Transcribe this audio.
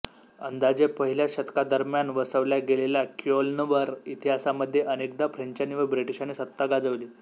अंदाजे पहिल्या शतकादरम्यान वसवल्या गेलेल्या क्योल्नवर इतिहासामध्ये अनेकदा फ्रेंचांनी व ब्रिटिशांनी सत्ता गाजवली